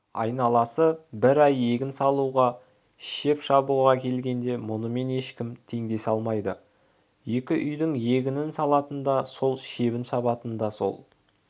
айналасы бір ай егін салуға шеп шабуға келгенде мұнымен ешкім теңдесе алмайды екі үйдің егінін салатын да сол шебін шабатын да сол